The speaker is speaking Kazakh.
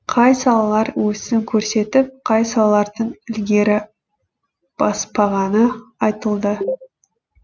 қай салалар өсім көрсетіп қай салалардың ілгері баспағаны айтылды